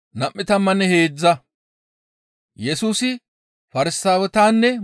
Qasseka Yesusi derezassinne bana kaallizaytas,